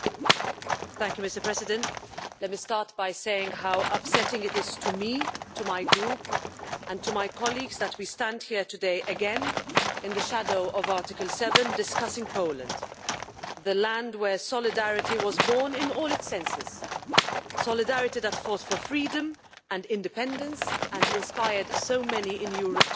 Mr President, let me start by saying how upsetting it is to me, to my group and to my colleagues that today we stand here again in the shadow of Article 7 discussing Poland, the land where solidarity was born in all its senses solidarity that force for freedom and independence which inspired so many in Europe to do the same.